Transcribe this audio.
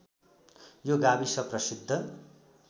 यो गाविस प्रसिद्ध